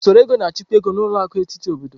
Usoro ego na-achịkwa ego, na ụlọ akụ etiti obodo.